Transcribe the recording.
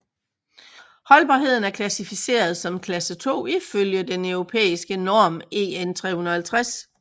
Holdbarheden er klassificeret som klasse 2 ifølge den europæiske norm EN350